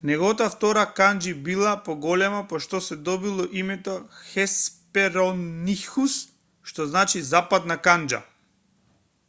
неговата втора канџи била поголема по што се добило името хесперонихус што значи западна канџа